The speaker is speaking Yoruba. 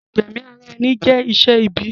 Ìgbẹ̀mi ara ẹni jẹ́ iṣẹ́ ibi